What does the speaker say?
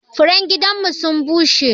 Furen gidan mu sun bushe.